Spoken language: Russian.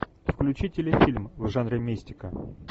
включи телефильм в жанре мистика